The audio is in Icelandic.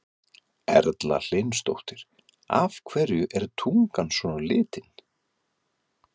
Erla Hlynsdóttir: Af hverju er tungan svona á litinn?